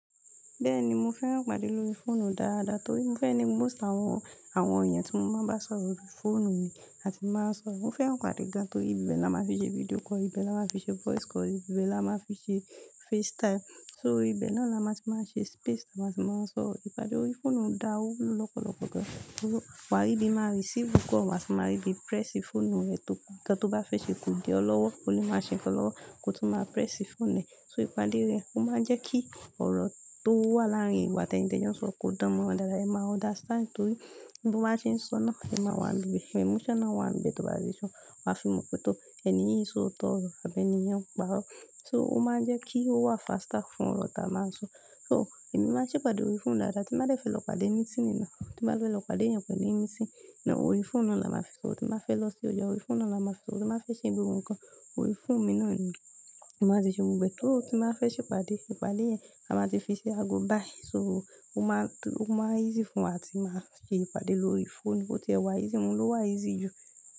Bẹ́ẹ̀ni mo fẹ́ràn ìpàdé lórí fóònù dáadáa torí mo fẹẹ ni most àwọn, àwọn èèyàn tí mo máa ń bá sọ̀rọ̀ lórí fóònù ni a ti máa ń sọrọ. Mo fẹ́ràn ìpàdé ga torí ibẹ̀ ni a máa fi ṣe video call, ibẹ̀ la máa fi ṣe voice call, ibẹ̀ la máa fi ṣe FaceTime. So ibẹ̀ náà la máa ti máa ń ṣe space táa máa ti máa ń sọ. Ìpàdé lórí fóònù dá o wúlò lọ́pọ̀lọ́pọ̀ gan. Wàà ribí máa receive call, wà tun máa rí bí press fóònù rẹ̀ tó, nkan to bá fẹ́ ṣe ko di ọ lọ́wọ́, o lè máa ṣe nkan lọ́wọ́ kó tun máa press fóònù rẹ̀. So ìpàdé rẹ̀ ó máa ń jẹ́ kí ọ̀rọ̀ tó wà láàárín ìwo atẹ́nì tẹ́jo n s'òro ko dánmọ́ran dáadáa. E ma understand tori bi mo ba se n so naa, e maa wa n bi be, emotional wa nbi be to ba le so, wa fi mo pe, to, eni yi n sooto oro abi eni yi n paro. So ó máa ń jẹ́ kí ó wà faster fún ọ̀rọ̀ tá a máa ń sọ. So, emi maa n se'pade ori foonu daadaa. Tí bá dẹ́ fe lọ pàdé mitiiní na, tí bá fe lọ pàdé ẹ̀yàn kan ní meeting na, orí fóònù naa la máa fi sọ̀rọ̀. Tí bá fẹ́ lọ sí ọjà orí fóònù naa la máa fi sọ̀rọ̀, tí bá fẹ́ ṣe ìgbéyàwó nǹkan orí fóònù mi náà ni. A máa ti ṣe ohun gbogbo. Só ti máa fẹ́ ṣe ìpàdé, ìpàdé yẹn a máa ti fi ṣe ago bái. So ó máa tú, ó máa easy fún wa atí máa ṣe ìpàdé lórí fóònù bó tí ẹ wà easy, oun lò ń wà easy jù.